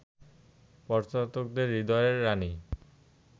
পর্যটকদের হৃদয়ের রানী